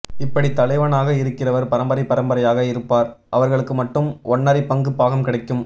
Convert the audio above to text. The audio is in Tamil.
இப்படித் தலைவனாக இருக்கிறவர் பரம்பரை பரம்பரையாக இருப்பார் அவர்களுக்கு மட்டும் ஒண்ணரை பங்கு பாகம் கிடைக்கும்